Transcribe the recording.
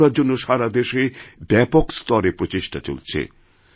স্বচ্ছতার জন্য সারা দেশেব্যাপক স্তরে প্রচেষ্টা চলছে